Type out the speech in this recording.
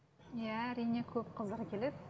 иә әрине көп қыздар келеді